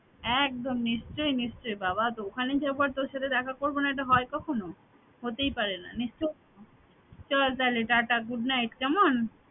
একদম নিশ্চয় নিশ্চয় বাবা তো ওখানে যাবো আর তোর সাথে দেখা করবো না এটা হয় কখনো হতেই পারে না নিশ্চয় চললাম তাইলে টাটা good night কেমন